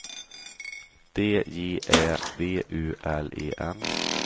D J Ä V U L E N